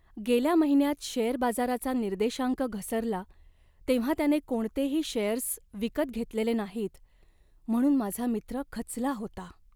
गेल्या महिन्यात शेअर बाजाराचा निर्देशांक घसरला तेव्हा त्याने कोणतेही शेअर्स विकत घेतेले नाहीत म्हणून माझा मित्र खचला होता.